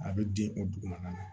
A bɛ di o dugu ma